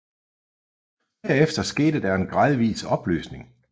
Derefter skete der en gradvis opløsning